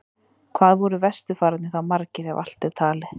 Hvað voru vesturfararnir þá margir, ef allt er talið?